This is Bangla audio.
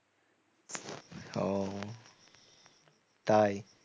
ও তাই?